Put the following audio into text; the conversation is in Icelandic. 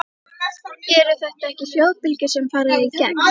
Eru þetta ekki hljóðbylgjur sem fara í gegn?